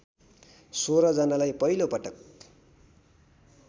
१६ जनालाई पहिलोपटक